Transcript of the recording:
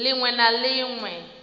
ḽ iṅwe na ḽ iṅwe